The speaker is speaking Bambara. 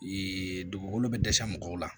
Ee dugukolo be dɛsɛ mɔgɔw la